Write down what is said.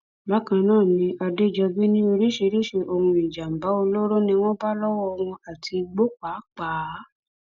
bákan náà ni adèjọbí ní oríṣiríṣiì ohun ìjàǹbá olóró ni wọn bá lọwọ wọn àti igbó pàápàá